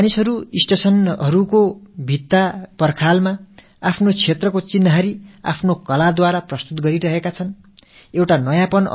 அந்தந்த வட்டாரங்களைச் சேர்ந்த மக்கள் ரயில் நிலையங்களின் சுவர்களில் தங்கள் வட்டார கலையம்சங்களைக் கொண்டு அழகுபடுத்துகிறார்கள்